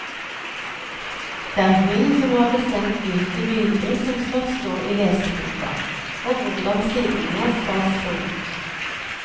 Det er hun som har bestemt hvilke bilder som skal stå i leseboka, og hvordan sidene skal se ut.